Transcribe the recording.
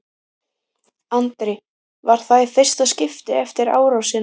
Andri: Var það í fyrsta skiptið eftir árásina?